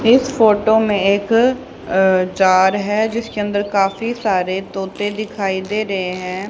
इस फोटो में एक अ जार है जिसके अंदर काफी सारे तोते दिखाई दे रहे हैं।